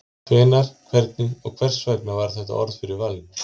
Hvenær, hvernig og hvers vegna varð þetta orð fyrir valinu?